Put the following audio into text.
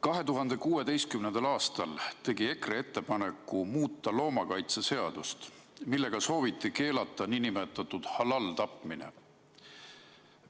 2016. aastal tegi EKRE ettepaneku muuta loomakaitseseadust, millega sooviti keelata nn halal-tapmine.